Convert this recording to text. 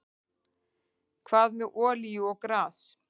Hvað með olíu og gas?